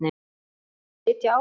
Muntu sitja áfram?